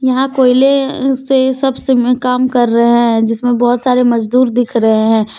यहां कोयले से सब इसमें काम कर रहे हैं जिसमें बहुत सारे मजदूर दिख रहे हैं।